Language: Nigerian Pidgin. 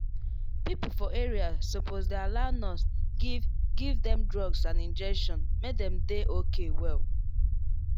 people for area suppose dey allow nurse give give dem drugs and injection make dem dey okay well.